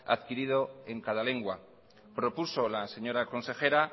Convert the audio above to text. adquirido en cada lengua propuso la señora consejera